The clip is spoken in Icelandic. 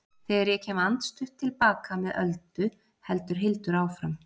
Þegar ég kem andstutt til baka með Öldu heldur Hildur áfram